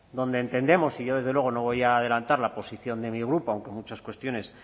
donde entendemos y yo desde luego no voy a adelantar la posición de mi grupo aunque en muchas cuestiones